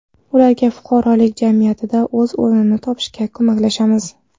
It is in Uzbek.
Ularga fuqarolik jamiyatida o‘z o‘rnini topishga ko‘maklashamiz.